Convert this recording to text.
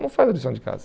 Não faz a lição de casa.